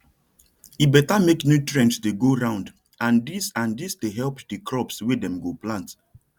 e better make nutrients dey go round and dis and dis dey help the crops wey dem go plant